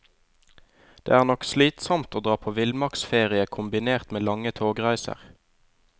Det er nok slitsomt å dra på villmarksferie kombinert med lange togreiser.